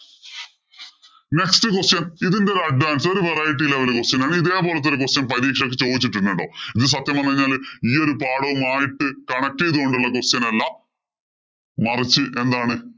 Next question ഇതിന്‍റെ ഒരു advance ഒരു variety level question ആണ്. ഇതേ പോലത്തെ ഒരു question പരീക്ഷയ്ക്ക് ചോദിച്ചിട്ടുണ്ട് കേട്ടോ. ഇത് സത്യം പറഞ്ഞുകഴിഞ്ഞാല് ഈ പാഠവുമായിട്ട് connect ചെയ്തു കൊണ്ടുള്ള ഒരു question അല്ല. മറിച്ച് എന്താണ്